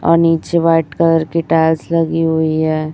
और नीचे white colour की टाइल्स लगी हुई है।